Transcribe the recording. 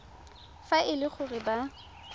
fa e le gore ba